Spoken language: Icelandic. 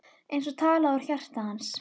Eins og talað úr hans hjarta.